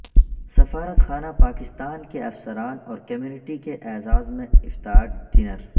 سفارتخانہ پاکستان کے افسران اور کمیونٹی کے اعزاز میں افطار ڈنر